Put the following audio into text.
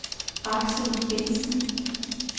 Aksel Bentsen